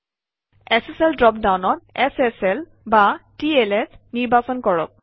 SSL drop ডাউনত sslটিএলএছ নিৰ্বাচন কৰক